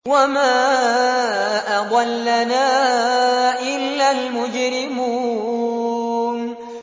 وَمَا أَضَلَّنَا إِلَّا الْمُجْرِمُونَ